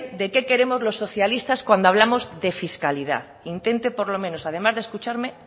de que queremos los socialistas cuando hablamos de fiscalidad intente por lo menos además de escucharme